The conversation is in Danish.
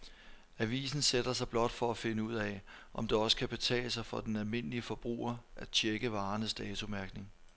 Avisen sætter sig blot for at finde ud af, om det også kan betale sig for den almindelige forbruger at checke varernes datomærkning.